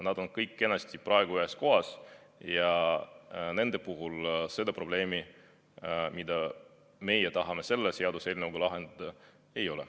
Nad on kõik kenasti praegu ühes kohas ja nende puhul seda probleemi, mida meie tahame selle seaduseelnõuga lahendada, ei ole.